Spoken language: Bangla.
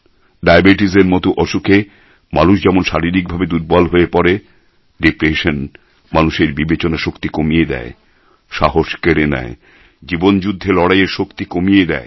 ডায়াবেটিসের মতো অসুখে মানুষ যেমন শারীরিকভাবে দুর্বল হয়ে পড়ে ডিপ্রেশন মানুষের বিবেচনা শক্তি কমিয়ে দেয় সাহস কেড়ে নেয় জীবনযুদ্ধে লড়াইয়ের শক্তি কমিয়ে দেয়